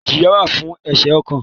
ìjìyá wà fún ẹ̀ṣẹ̀ kọ̀ọ̀kan.